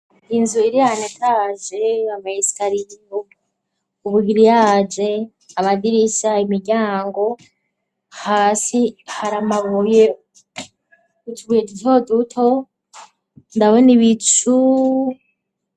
Inzu ilianetaje amayisitariyu ubugiri yaje amagirisaya imiryango hasi haramabuye ucbuye ityo duto ndabone ibicu.